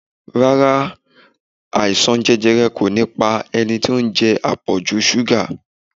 Rárá, àìsàn jẹjẹrẹ kò ní pa ẹni tí ó ń jẹ àpọ̀jù ṣúgà